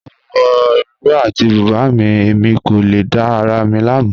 Mo wọ ìró àti bùbá mi, ẹ̀mi kò lè dá ara mi lámu.